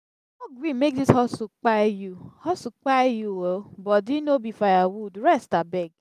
no gree make dis hustle kpai you hustle kpai you o body no be firewood rest abeg.